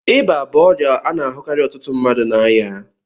Ịba bụ ọrịa a na-ahụkarị ọtụtụ mmadụ na aya.